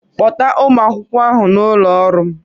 Kpọta ụmụ akwụkwọ ahụ n'ụlọ ọrụ m